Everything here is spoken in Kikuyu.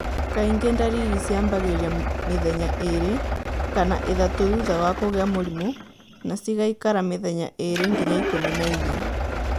Kaingĩ ndariri ciambagĩrĩria mĩthenya ĩrĩ kana ĩthatũ thutha wa kũgĩa mũrimũ na cigaikara mĩthenya ĩrĩ nginya ĩkũmi na ĩna.